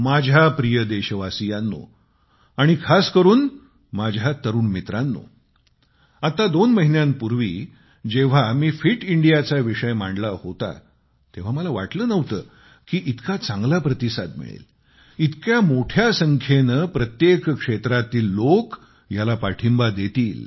माझ्या प्रिय देशवासीयांनो आणि खास करून माझ्या तरुण मित्रांनो आत्ता दोन महिन्यांपूर्वी जेव्हा मी फिट इंडियाचा विषय मांडला होता तेव्हा मला वाटले नव्हते की इतका चांगला प्रतिसाद मिळेल इतक्या मोठ्या संख्येने प्रत्येक क्षेत्रातील लोक ह्याला पाठिंबा देतील